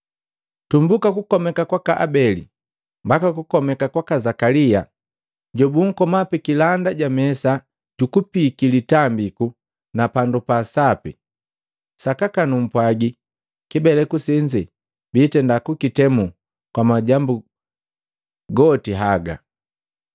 tumbuka kukomeka kwaka Abeli mbaka kukomeka kwaka Zakalia, jobukoma pikilanda ja mesa jukupiiki litambiku na pandu pa sapi. Sakaka numpwaji kibeleku senze bitenda kukitemu kwa majambu goti haga.